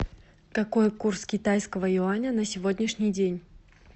какой курс китайского юаня на сегодняшний день